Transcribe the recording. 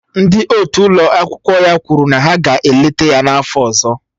Ndị otu ụlọ akwụkwọ ya kwuru na ha ga-eleta ya n'afọ ọzọ